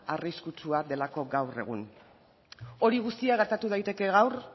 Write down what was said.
arriskutsua delako gaur egun hori guztia gertatu daiteke gaur